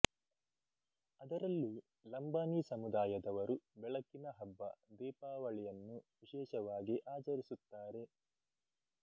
ಅದರಲ್ಲೂ ಲಂಬಾಣೀ ಸಮೂದಾಯದವರು ಬೆಳಕಿನ ಹಬ್ಬ ದೀಪಾವಳಿಯನ್ನು ವಿಶೇಷವಾಗಿ ಆಚರಿಸುತ್ತಾರೆ